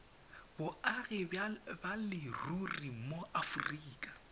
boagi ba leruri mo aforika